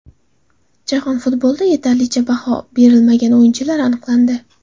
Jahon futbolida yetarlicha baho berilmagan o‘yinchilar aniqlandi.